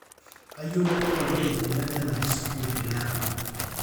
kayieu nayolou ajo ropiyani aja elaki sukuul tele apa